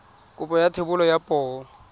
kopo ya thebolo ya poo